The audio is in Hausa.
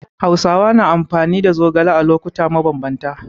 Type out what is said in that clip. Hausawa na amfani da zogale a lokuta mabambanta.